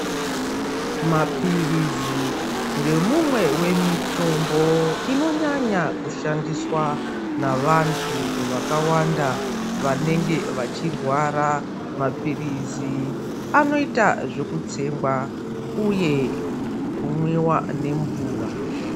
Maphirizi ndemumwe wemutombo inonyanya kushandiswa navantu vakawanda vanenge vachirwara, maphirizi anoita zvekutsengwa uye kumwiwa nemvura.